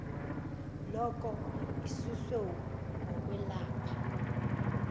loko isusiwe ngokwelapha